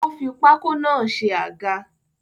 Ó fi pákó náà ṣe àga